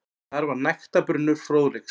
Þar var nægtabrunnur fróðleiks.